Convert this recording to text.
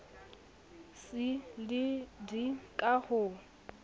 c le d ka ho